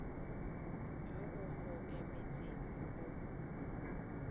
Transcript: yo o go emetseng o